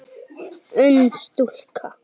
Ung stúlka.